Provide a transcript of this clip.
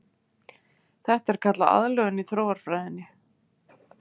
Þetta er kallað aðlögun í þróunarfræðinni.